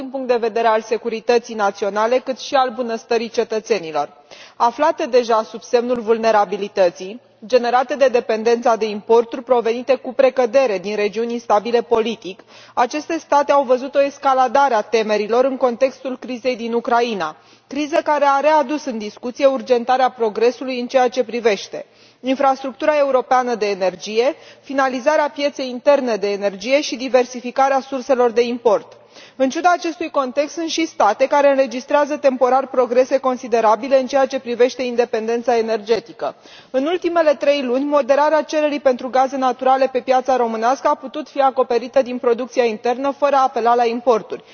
Pentru multe state din zona Europei Centrale și de Sud Est conceptul de securitate energetică este esențial, atât din punct de vedere al securității naționale, cât și al bunăstării cetățenilor. Aflate deja sub semnul vulnerabilității generate de dependența de importuri provenite cu precădere din regiuni instabile politic, aceste state au văzut o escaladare a temerilor în contextul crizei din Ucraina. Criză care a readus în discuție urgentarea progresului în ceea ce privește infrastructura europeană de energie, finalizarea pieței interne de energie și diversificarea surselor de import. În ciuda acestui context sunt și state care înregistrează temporar progrese considerabile în ceea ce privește independența energetică. În ultimele trei luni moderarea cererii pentru gaze naturale pe piața românească a putut fi acoperită din producția internă fără a apela la importuri.